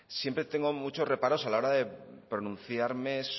siempre tengo muchos reparos a la hora de pronunciarme